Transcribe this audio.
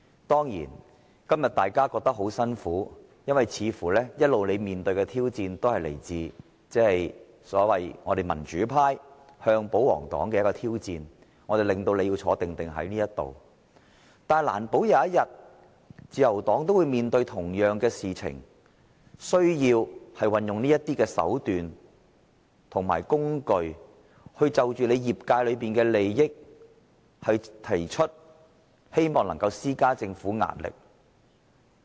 當然，今天大家感到很辛苦，因為你們一直面對的挑戰，似乎均是我們民主派向保皇黨的挑戰，是我們令你們要在會議廳內"坐定定"；但難保有一天，可能自由黨也要面對同樣的情況，需要運用這種手段和工具，就着其業界的利益提出意見，希望能夠向政府施加壓力。